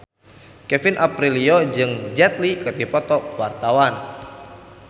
Kevin Aprilio jeung Jet Li keur dipoto ku wartawan